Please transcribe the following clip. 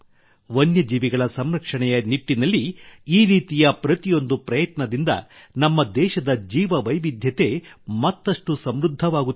ವನ್ಯ ಜೀವಿಗಳ ಸಂರಕ್ಷಣೆಯ ನಿಟ್ಟಿನಲ್ಲಿ ಈ ರೀತಿಯ ಪ್ರತಿಯೊಂದು ಪ್ರಯತ್ನದಿಂದ ನಮ್ಮ ದೇಶದ ಜೀವ ವೈವಿಧ್ಯತೆ ಮತ್ತಷ್ಟು ಸಮೃದ್ಧವಾಗುತ್ತಿದೆ